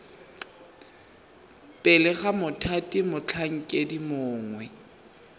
pele ga mothati motlhankedi mongwe